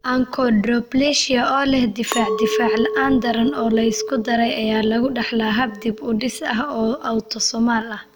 Achondroplasia oo leh difaac difaac la'aan daran oo la isku daray ayaa lagu dhaxlaa hab dib-u-dhis ah oo autosomal ah.